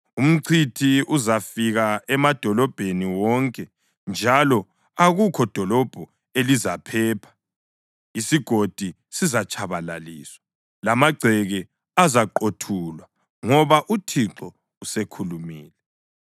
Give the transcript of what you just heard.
Umchithi uzafika emadolobheni wonke, njalo akukho dolobho elizaphepha. Isigodi sizatshabalaliswa, lamagceke azaqothulwa ngoba uThixo usekhulumile.